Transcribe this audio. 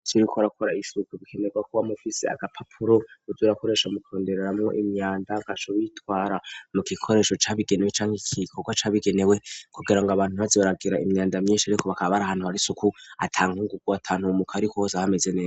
Uzi kuriko urakora isuku bikenerwa kuba ufise agapapuro uzurakoresha mu kurundamo imyanda gaco bitwara mu gikoresho cabigenewe canke igikorwa cabigenewe kugira ngo abantu baze baragira imyanda myinshi ariko bakaba bari ahantu ata nkungungu aho meze neza.